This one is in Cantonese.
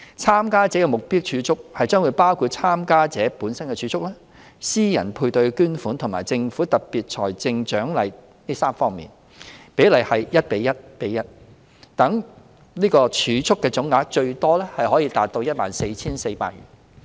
參加者的目標儲蓄將包括參加者本身的儲蓄、私人配對捐款和政府的特別財政獎勵這3方面，比例為 1：1：1， 讓儲蓄的總額最多可達 14,400 元。